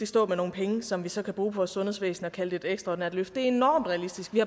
stå med nogle penge som vi så kan bruge på vores sundhedsvæsen og kalde det et ekstraordinært løft er enormt realistisk vi